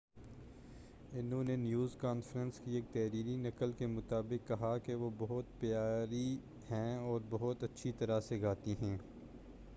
انہوں نے news conference کی ایک تحریری نقل کے مطابق کہا کہ وہ بہت پیاری ہیں اور بہت اچھی طرح سے گاتی ہیں